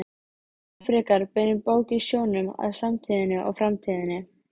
Miklu fremur beinir bókin sjónum að samtíðinni og framtíðinni.